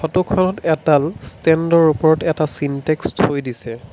ফটোখনত এডাল ষ্টেণ্ডৰ ওপৰত এটা চিনটেক্স থৈ দিছে।